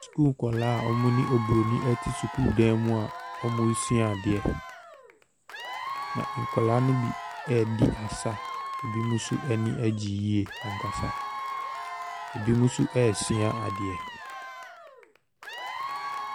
Sukuu nkwadaa a wɔne oburoni te sukuu dan mu a resua adeɛ, na nkwadaa no bi redi asa, binom nso ani agye yie ankasa. Binom nso resua adeɛ.